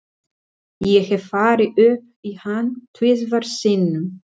Ég hef farið upp í hann tvisvar sinnum.